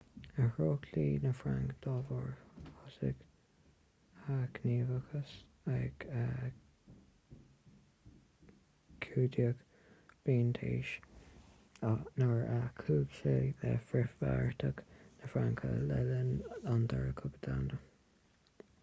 athraíodh dlí na fraince dá bharr thosaigh a ghníomhaíochas ag 15 bliain d'aois nuair a chuaigh sé le frithbheartaíocht na fraince le linn an dara cogadh domhanda